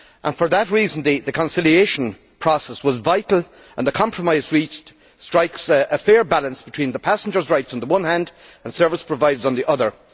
For that reason, the conciliation process was vital and the compromise reached strikes a fair balance between passengers' rights, on the one hand, and those of service providers, on the other.